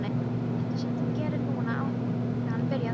Þetta sem þú gerðir núna áðan byrjaði hann.